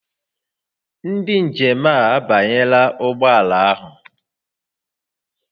Ndị njem a abanyela ụgbọ ala ahụ